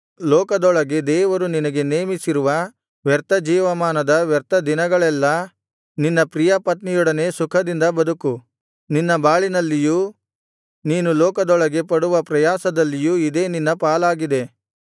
ಲೋಕದೊಳಗೆ ದೇವರು ನಿನಗೆ ನೇಮಿಸಿರುವ ವ್ಯರ್ಥ ಜೀವಮಾನದ ವ್ಯರ್ಥ ದಿನಗಳೆಲ್ಲಾ ನಿನ್ನ ಪ್ರಿಯಪತ್ನಿಯೊಡನೆ ಸುಖದಿಂದ ಬದುಕು ನಿನ್ನ ಬಾಳಿನಲ್ಲಿಯೂ ನೀನು ಲೋಕದೊಳಗೆ ಪಡುವ ಪ್ರಯಾಸದಲ್ಲಿಯೂ ಇದೇ ನಿನ್ನ ಪಾಲಾಗಿದೆ